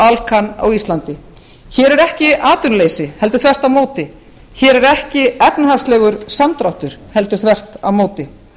og alcan á íslandi hér er ekki atvinnuleysi heldur þvert á móti hér er ekki efnahagslegur samdráttur heldur þvert á móti